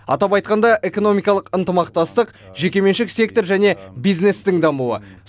атап айтқанда экономикалық ынтымақтастық жекеменшік сектор және бизнестің дамуы